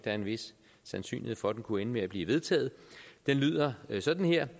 er en vis sandsynlighed for at det kunne ende med at blive vedtaget det lyder sådan her